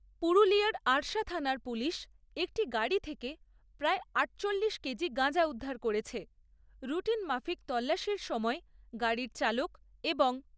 পুরুলিয়ার আরশা থানার পুলিশ একটি গাড়ি থেকে প্রায় আটচল্লিশ কেজি গাঁজা উদ্ধার করেছে। রুটিন মাফিক তল্লাশির সময় গাড়ির চালক এবং